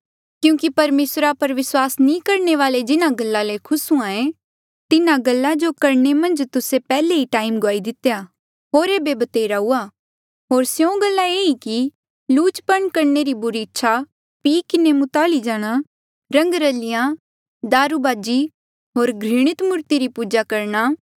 क्यूंकि परमेसरा पर विस्वास नी करणे वाले जिन्हा गल्ला ले खुस हुए तिन्हा गल्ला जो करणे मन्झ तुस्से पैहले ई टैम गुआई दितेया होर ऐबे भतेरा हुआ होर स्यों गल्ला ये ई किलुचपन करणे री बुरी इच्छा पी किन्हें मुताली जाणा रंगरलिया दारूबाजी होर घृणित मूर्ति री पूजा करणा